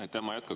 Aitäh!